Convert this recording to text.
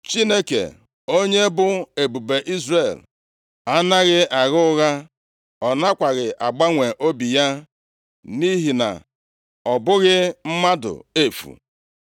Chineke, onye bụ Ebube Izrel, anaghị agha ụgha; ọ nakwaghị agbanwe obi ya, nʼihi na ọ bụghị mmadụ efu!”